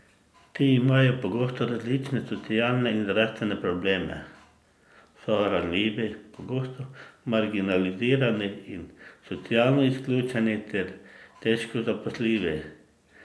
Ti imajo pogosto različne socialne in zdravstvene probleme, so ranljivi, pogosto marginalizirani in socialno izključeni ter težko zaposljivi.